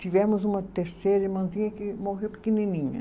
Tivemos uma terceira irmãzinha que morreu pequenininha.